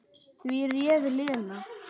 Því réð Lena.